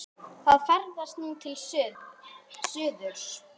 Það ferðast nú til suðurs.